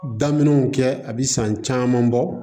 Daminɛw kɛ a bɛ san caman bɔ